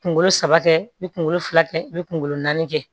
Kunkolo saba kɛ i bɛ kunkolo fila kɛ i bɛ kunkolo naani kɛ